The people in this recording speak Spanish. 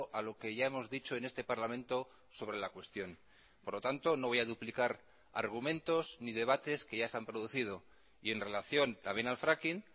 a lo que ya hemos dicho en este parlamento sobre la cuestión por lo tanto no voy a duplicar argumentos ni debates que ya se han producido y en relación también al fracking